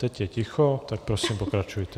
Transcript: Teď je ticho, tak, prosím, pokračujte.